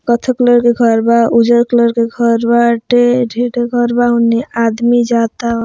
कत्था कलर के घर बा उजर कलर के घर बा टे ढेर-ढेर घर बा उन्ने आदमी जाता।